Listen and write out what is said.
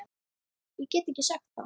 Ég get ekki sagt það.